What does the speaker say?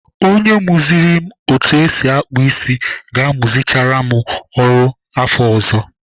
Onye muziri m otu esi akpụ isi ga-amuchara m ọrụ afọ ọzọ.